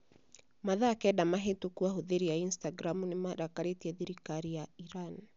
Mathaa kenda mahĩtũku ahũthĩri a Instagram nĩ marakarĩtie thirikari ya Iran.